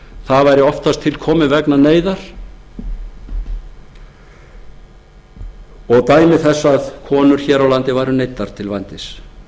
það væri oftast til komið vegna neyðar og dæmi þess að konur hér á landi væru neyddar til vændis